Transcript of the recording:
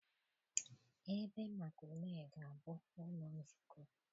Ebe maka ule ga-abụ ụlọ nzukọ.